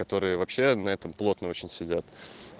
которые вообще на этом плотно очень сидят